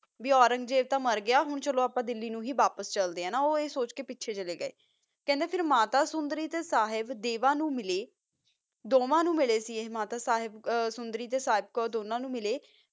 ਓਰਾਂਜ੍ਜ਼ਾਬ ਤਾ ਹੁਣ ਮਾਰ ਗਯਾ ਚਲੋ ਹੁਣ ਆਪਆ ਡਾਲੀ ਨੂ ਹੀ ਵਾਪਿਸ ਚਲਿਆ ਓਹੋ ਆ ਸੋਚ ਕਾ ਪਚਾ ਮੋਰ ਗਯਾ ਮਾਤਾ ਸੋੰਦਾਰੀ ਤਾ ਸਾਹਿਬ ਦਾਵੇ ਨੂ ਮਿਲਾ ਦੋਨਾ ਨੂ ਮਿਲਾ ਤਾ ਮਾਤਾ ਸੋੰਦਾਰੀ ਤਾ ਸਾਹਿਬ੍ਕੋਰ ਨੂ ਮਿਲਾ ਸੀ